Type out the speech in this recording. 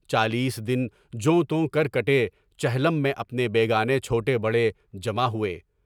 چالیس دن جو توں کر کٹے، چہلم میں اپنے بے گانے چھوٹے بڑے جمع ہوئے۔